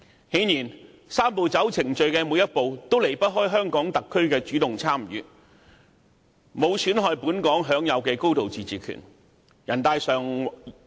很明顯，"三步走"程序的每一步都有香港特區主動參與，沒有損害本港享有的高度自治權。